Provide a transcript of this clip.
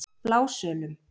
Blásölum